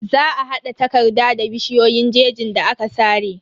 Za a hada takarda da bishiyoyin jejin da aka sare.